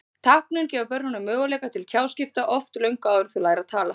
Táknin gefa börnunum möguleika til tjáskipta, oft löngu áður en þau læra að tala.